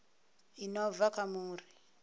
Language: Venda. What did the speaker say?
i no bva kha muri